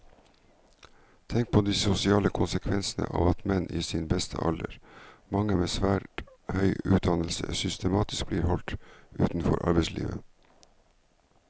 Tenk på de sosiale konsekvensene av at menn i sin beste alder, mange med svært høy utdannelse, systematisk blir holdt utenfor arbeidslivet.